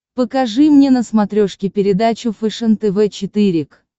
покажи мне на смотрешке передачу фэшен тв четыре к